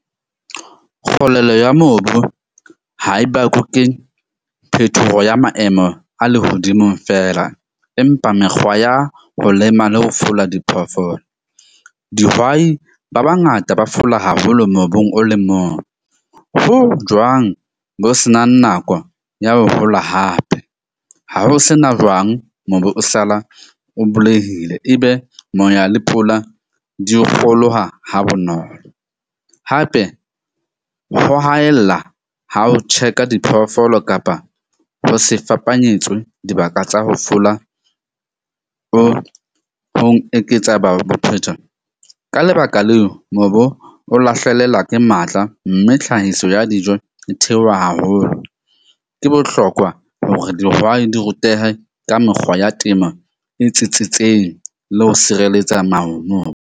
Kgolelo ya mobu ha e bakwe ke phethoho ya maemo a lehodimo fela. Empa mekgwa ya ho lema le ho fola diphoofolo. Dihwai ba bangata ba fola haholo mobung o le mong. Ho jwang bo senang nako ya ho hola hape ha ho sena jwang, mobu o sala o bulehile, ebe moya le pula di kgolowa ha bonolo. Hape ho haella ha o check-a diphoofolo kapa ho se fapanyetswe dibaka tsa ho fola o ho eketsa . Ka lebaka leo mobo o lahlelela ke matla, mme tlhahiso ya dijo e theoha haholo. Ke bohlokwa hore dihwai di rutehe ka mekgwa ya temo e tsitsitseng le ho sireletsa .